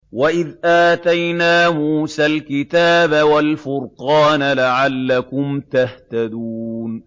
وَإِذْ آتَيْنَا مُوسَى الْكِتَابَ وَالْفُرْقَانَ لَعَلَّكُمْ تَهْتَدُونَ